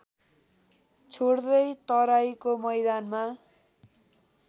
छोड्दै तराइको मैदानमा